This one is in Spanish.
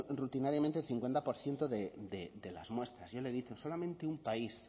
rutinariamente el cincuenta por ciento de las muestras yo le he dicho solamente un país